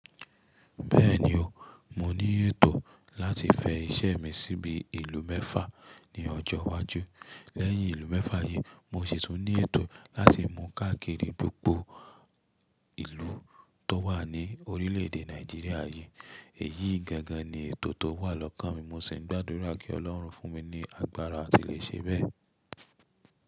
Bẹ́ẹ̀ni o, mo ní ètò láti fẹ iṣẹ́ mi síbi ìlú mẹ́fà ní ọjọ́ iwájú. Lẹ́yìn ìlú mẹ́fà yí, mo sì tún ní ètò láti mú káàkiri gbogbo ìlú tó wà ní orílẹ̀ èdè Nàìjíríà yí. Èyí gangan ni ètò tó wà lọ́kàn mi. Mo sì ń gbàdúrà kí ọlọ́run fún mi ní agbára tí lè ṣe bẹ́ẹ̀.